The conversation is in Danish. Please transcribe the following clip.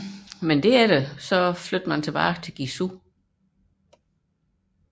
Men derefter rykkede man tilbage til Guizhou